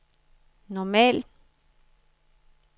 normal